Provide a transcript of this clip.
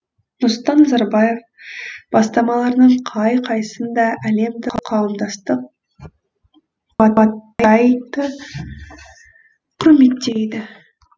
нұрсұлтан назарбаев бастамаларының қай қайсын да әлемдік қауымдастық қуаттайды құрметтейді